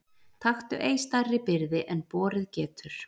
Taktu ei stærri byrði en borið getur.